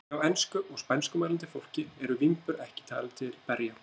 Hjá ensku- og spænskumælandi fólki eru vínber ekki talin til berja.